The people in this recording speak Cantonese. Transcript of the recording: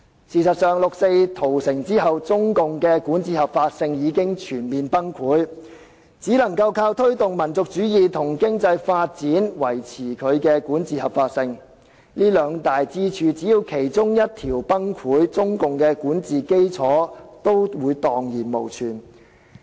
事實上，六四屠城後，中共的管治合法性已經全面崩潰，只能靠推動民族主義和經濟發展來維持其管治合法性，只要這兩大支柱的其中一條崩潰，中國的管治基礎也會蕩然無存。